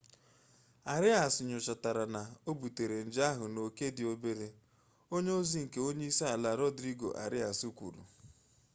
arias nyochatara na o butere nje ahụ n'oke dị obere onye ozi nke onye isi ala rodrigo arias kwuru